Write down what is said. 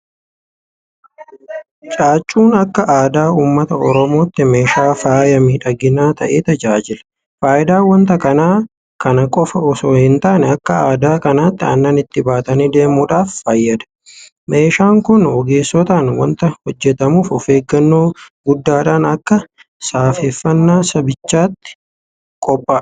Caaccuun akka aadaa uummata Oromootti meeshaa faaya miidhaginaa ta'ee tajaajila. Faayidaan waanta kanaa kana qofa itoo hintaane akka aadaatti aannan itti baatanii deemuudhaaf fayyada. Meeshaan kun ogeessotaan waanta hojjetamuuf ofeeggannoo guddaadhaan akka safeeffannaa sabichaatti qophaa'a.